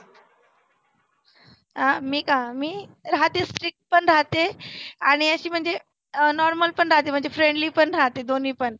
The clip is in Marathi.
अं मी का मी राहते strict पण राहते आणि आशी म्हणजे अं normal पण राहते. friendly पण राहते दोन्ही पण